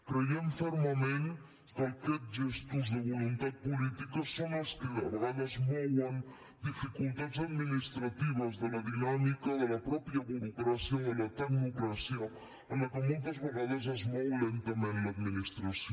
creiem fermament que aquests gestos de voluntat política són els que de vegades mouen dificultats administratives de la dinàmica de la mateixa burocràcia o de la tecnocràcia en la qual moltes vegades es mou lentament l’administració